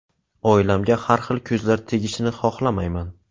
Oilamga har xil ko‘zlar tegishini xohlamayman.